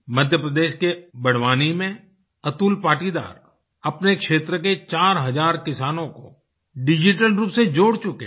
मध्यप्रदेश के बड़वानी में अतुल पाटीदार अपने क्षेत्र के 4 हजार किसानों को डिजिटल रूप से जोड़ चुके हैं